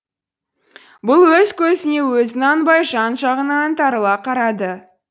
бұл өз көзіне өзі нанбай жан жағына аңтарыла қарады